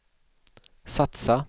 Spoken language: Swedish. satsa